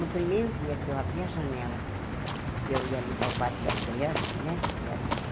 No primeiro dia que eu abri a janela, que eu ia limpar o quarto das crianças, né, que eram assim...